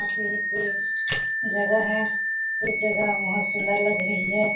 जगह है उस जगह बहुत सुन्दर लग रही हैं।